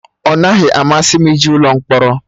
Ọ naghị amasị m ije ụlọ mkpọrọ